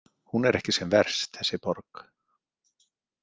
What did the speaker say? Hún er ekki sem verst, þessi borg.